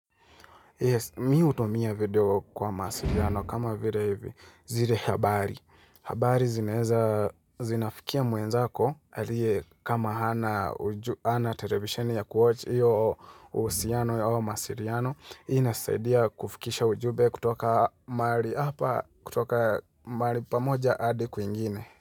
Yes, mimi hutumia video kwa masiliano kama vile hivi zile habari. Habari zinaweza, zinafikia mwenzako aliye kama hana television ya kuwatch hiyo uhusiano au mawasiliano inasaidia kufikisha ujumbe kutoka mahali hapa kutoka mahali pamoja hadi kwingine.